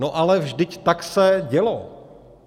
No ale vždyť se tak dělo.